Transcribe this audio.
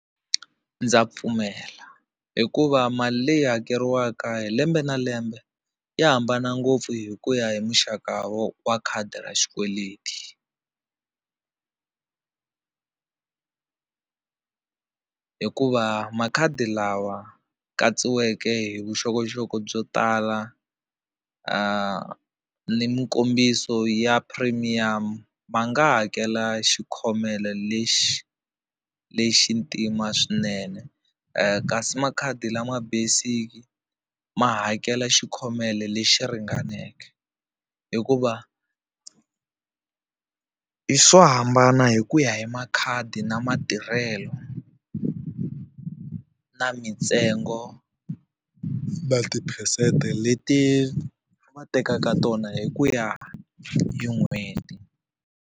Ndza pfumela hikuva mali leyi hakeriwaka hi lembe na lembe ya hambana ngopfu hi ku ya hi muxaka wa khadi ra xikweleti hikuva makhadi lawa katsiweke hi vuxokoxoko byo tala ni mikombiso ya premium ma nga hakela xikhomelo lexi lexi ntima swinene kasi makhadi lama basic ma hakela xi khomelo lexi ringaneke hikuva i swo hambana hi ku ya hi makhadi na matirhelo na mintsengo ma tiphesente leti va tekaka tona hi ku ya hi n'hweti.